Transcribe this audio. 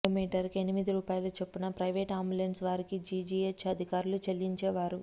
కిలోమీటర్కు ఎనిమిది రూపాయల చొప్పున ప్రైవేటు అంబులెన్స్ వారికి జీజీహెచ్ అధికారులు చెల్లించేవారు